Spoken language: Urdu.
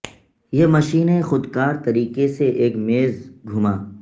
یہ مشینیں خود کار طریقے سے ایک میز گھما